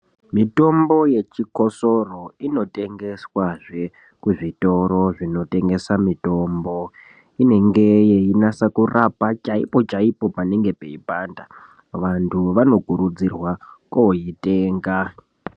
Mitombo yechikosoro inotengeswazve kuzvitoro zvinotengesa mitombo. Inenge yeinasa kurapa chaipo-chaipo panenge peipanda, vantu vanokurudzirwa koitenga.